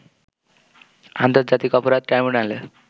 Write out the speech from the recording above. আন্তর্জাতিক অপরাধ ট্রাইব্যুনালে